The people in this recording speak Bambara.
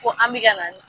Ko an bɛ ka na